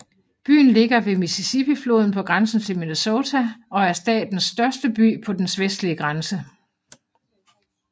Byen ligger ved Mississippifloden på grænsen til Minnesota og er statens største by på dens vestlige grænse